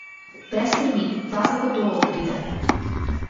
Brez skrbi, ta zagotovo pride.